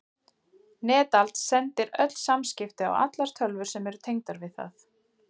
Netald sendir öll samskipti á allar tölvur sem eru tengdar við það.